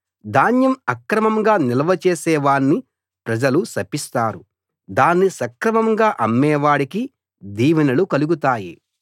ధాన్యం అక్రమంగా నిల్వ చేసే వాణ్ణి ప్రజలు శపిస్తారు దాన్ని సక్రమంగా అమ్మే వాడికి దీవెనలు కలుగుతాయి